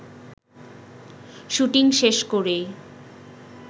shooting শেষ করেই